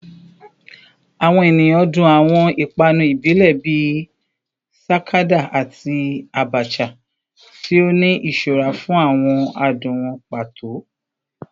Awọn eniyan dun awọn ipanu ibile bii sakada ati abacha, ti o ni iṣura fun awọn adun wọn pato